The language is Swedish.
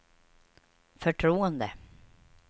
förtroende